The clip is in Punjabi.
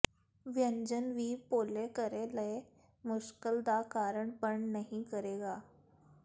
ਵਿਅੰਜਨ ਵੀ ਭੋਲੇ ਘਰੇ ਲਈ ਮੁਸ਼ਕਲ ਦਾ ਕਾਰਨ ਬਣ ਨਹੀ ਕਰੇਗਾ